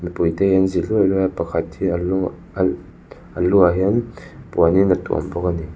mipuite hi an zi luai luai a pakhat hi a lu a a lu ah hian puanin a tuam bawk a ni.